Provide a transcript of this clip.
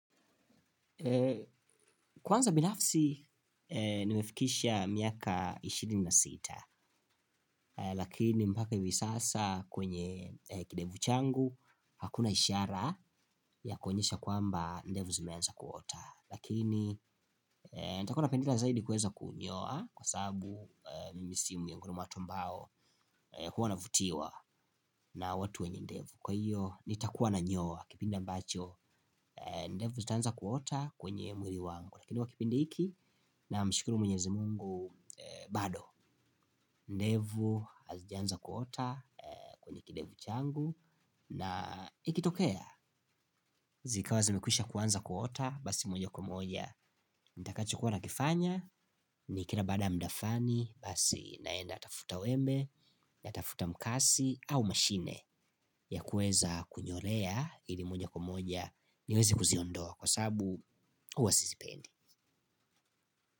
Kwanza binafsi nimefikisha miaka ishirini na sita lakini mpaki hivi sasa kwenye kidevu changu hakuna ishara ya kuonyesha kwamba ndevu zimeanza kuota lakini nitakuanapendelea zaidi kuweza kunyoa kwa sababu mimi si miongioni mwa watu ambao huwa navutiwa na watu wenye ndevu kwa hiyo nitakuwa nanyoa kipinde ambacho ndevu zitaanza kuota kwenye mwili wangu lakini kwa kipindi hiki namshukuru mwenyezi mungu bado ndevu, azijaanza kuota, kwenye kidevu changu na ikitokea, zikawa zemekwisha kuanza kuota basi moja kwa moja, ntakacho kuwa nakifanya ni kila baada mda flani, basi naenda tafuta wembe natafuta mkasi au mashine ya kuweza kunyolea ili moja kwa moja niwezi kuziondoa kwa sabu huwa sisipendi.